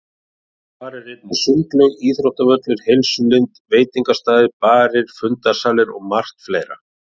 Þar er einnig sundlaug, íþróttavöllur, heilsulind, veitingastaðir, barir, fundarsalir og margt fleira.